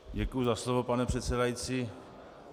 Děkuji za slovo, pane předsedající.